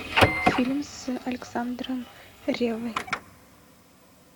фильм с александром реввой